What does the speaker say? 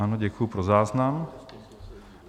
Ano, děkuji, pro záznam.